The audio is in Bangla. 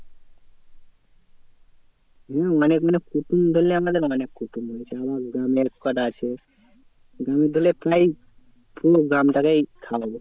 না অনেক মানে কুটুম ধরেনে আমাদের অনেক কুটুম বলেছে আমার গ্রামের করা আছে। গ্রামের ধরেনে প্রায় পুরো গ্রামটাকেই খাওয়াবো।